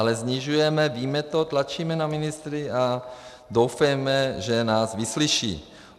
Ale snižujeme, víme to, tlačíme na ministry a doufejme, že nás vyslyší.